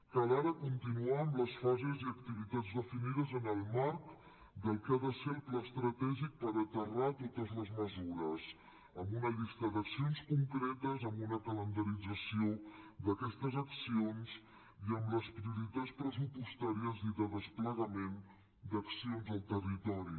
cal ara continuar amb les fases i activitats definides en el marc del que ha de ser el pla estratègic per aterrar totes les mesures amb una llista d’accions concretes amb una calendarització d’aquestes accions i amb les prioritats pressupostàries i de desplegament d’accions al territori